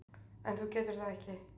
En þú getur það ekki.